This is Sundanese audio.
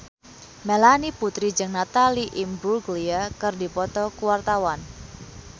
Melanie Putri jeung Natalie Imbruglia keur dipoto ku wartawan